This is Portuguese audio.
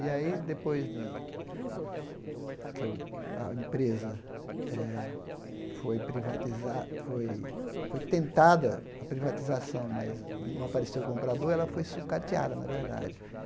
E aí, depois de que eu a empresa eh foi privatiza, foi foi tentada a privatização, mas não apareceu o comprador, ela foi sucateada, na verdade.